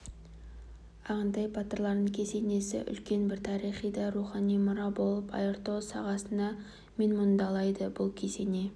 ағынтай батырлардың кесенесі үлкен бір тарихи да рухани мұра болып айыртау сағасынан менмұндалайды бұл кесене